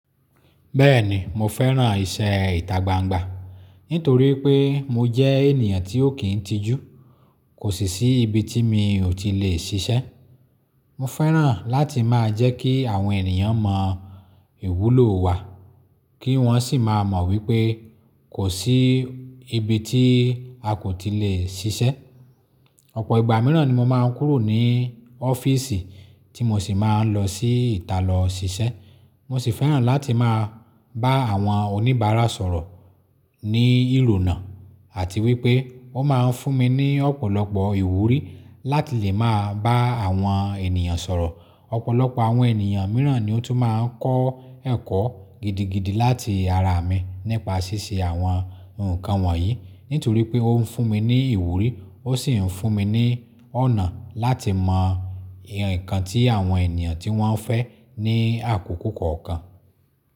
Bẹ́ẹ̀ni mo fẹ́ràn iṣẹ́ ìtagbangba nítorí pé mo jẹ́ ènìyàn tí ó kín ń tijú. Kò sì sí ibi tí mi ò ti lè ṣiṣẹ́. Mo fẹ́ràn láti máa jẹ́ kí àwọn ènìyàn mọ ìwúlò wa kí wọ́n sì máa mọ wípé kò sí ibi tí a kò ti lè ṣiṣẹ́. Ọ̀pọ̀ ìgbà mìíràn ni mo máa ń kúrò ní ọ́fíìsì tí mo sì máa ń lọ sí ìta lọ ṣiṣẹ́. Mo sì fẹ́ràn láti máa bá àwọn oníbàárà sọ̀rọ̀ ní ìrònà àti wípé wọ́n máa ń fún mi ní ọ̀pọ̀lọpọ̀ ìwúrí láti lè máa bá àwọn ènìyàn sọ̀rọ̀. Ọ̀pọ̀lọpọ̀ àwọn ènìyàn mìíràn ni ó tún máa ń kọ́ ẹ̀kọ́ gidigidi láti ara mi nípa ṣíṣe àwọn nǹkan wọ̀nyí. Nítorí pé ó ń fún mi ní ìwúrí ó sì ń fún mi ní ọ̀nà láti mọ nǹkan tí àwọn ènìyàn tí wọ́n fẹ́ ní àkókò kọ̀ọ̀kan.